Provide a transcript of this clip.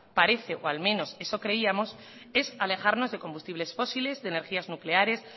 parece o al menos eso creíamos es alejarnos de combustibles fósiles de energías nucleares